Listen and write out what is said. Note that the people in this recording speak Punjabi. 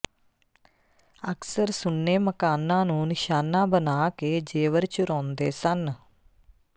ਅਕਸਰ ਸੁੰਨੇ ਮਕਾਨਾਂ ਨੂੰ ਨਿਸ਼ਾਨਾ ਬਣਾ ਕੇ ਜੇਵਰ ਚੁਰਾਉਂਦੇ ਸਨ